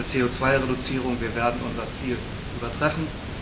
Zur CO Reduzierung Wir werden unser Ziel übertreffen.